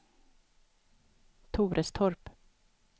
Torestorp